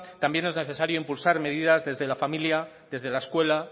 también es necesario impulsar medidas desde la familia desde la escuela